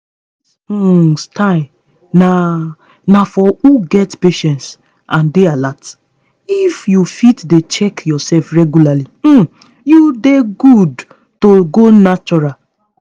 this um style na na for who get patience and dey alert. if you fit dey check yourself regularly um you dey good to go natural.